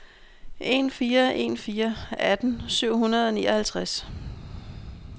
en fire en fire atten syv hundrede og nioghalvtreds